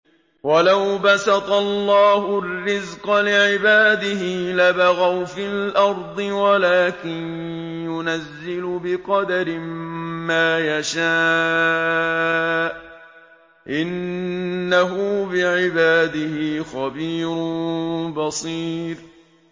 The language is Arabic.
۞ وَلَوْ بَسَطَ اللَّهُ الرِّزْقَ لِعِبَادِهِ لَبَغَوْا فِي الْأَرْضِ وَلَٰكِن يُنَزِّلُ بِقَدَرٍ مَّا يَشَاءُ ۚ إِنَّهُ بِعِبَادِهِ خَبِيرٌ بَصِيرٌ